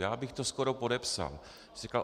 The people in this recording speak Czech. Já bych to skoro podepsal.